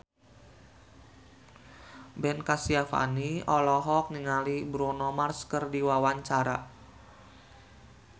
Ben Kasyafani olohok ningali Bruno Mars keur diwawancara